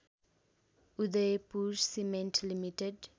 Udaipur cement limited